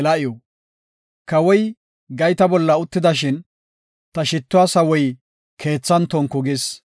Kawoy gayta bolla uttidashin, ta shittuwa sawoy keethan tonku gis.